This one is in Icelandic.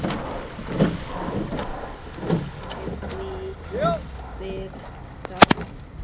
Hvítt rými, hvít birta.